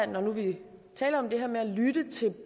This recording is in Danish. når nu vi taler om det her med at lytte til